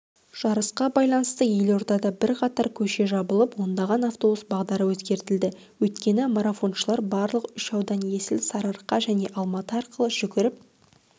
жарысқа байланысты елордада бірқатар көше жабылып ондаған автобус бағдары өзгертілді өйткені марафоншылар барлық үш аудан есіл сарыарқа және алматы арқылы жүгіріп